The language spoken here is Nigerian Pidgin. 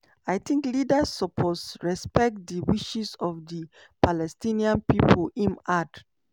"i tink leaders suppose respect di wishes of di palestinian pipo" im add.